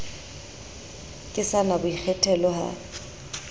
ke sa na boikgethelo ha